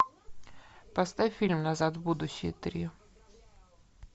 поставь фильм назад в будущее три